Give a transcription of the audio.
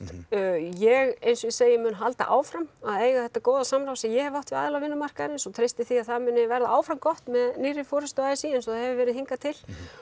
ég eins og ég segi mun halda áfram að eiga þetta góða samtal sem ég hef átt við aðila vinnumarkaðarins og treysti því að það muni verða áfram gott með nýrri forystu a s í eins og það hefur verið hingað til